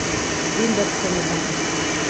Vendar se ne dam.